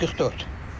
144.